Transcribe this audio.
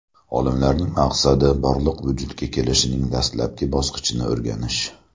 Olimlarning maqsadi Borliq vujudga kelishining dastlabki bosqichini o‘rganish.